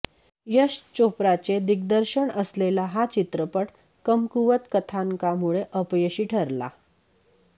यश चोप्राचे दिग्दर्शन असलेला हा चित्रपट कमकुवत कथानकामुळे अपयशी ठरला